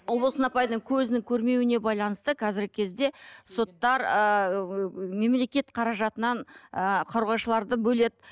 ұлболсын апайдың көзінің көрмеуіне байланысты қазіргі кезде соттар ыыы мемлекет қаражатынан ы қорғаушыларды бөледі